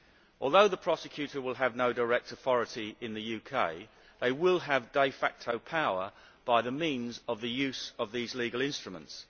Although the Prosecutorʼs Office will have no direct authority in the UK, it will have de facto power by means of the use of these legal instruments.